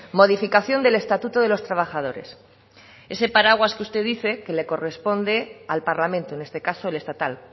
modificación del estatuto de los trabajadores ese paraguas que usted dice que le corresponde al parlamento en este caso el estatal